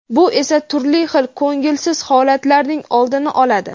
bu esa turli xil ko‘ngilsiz holatlarning oldini oladi.